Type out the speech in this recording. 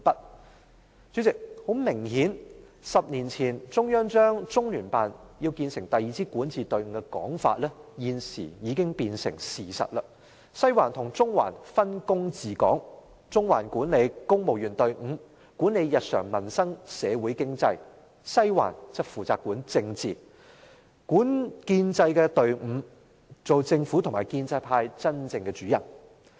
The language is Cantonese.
代理主席，很明顯 ，10 年前中央要將中聯辦建成第二支管治隊伍的說法，現時已經變成事實，西環和中環分工治港，中環管理公務員隊伍、日常民生和社會經濟，西環則負責管理政治和建制的隊伍，成為政府和建制派真正的主人。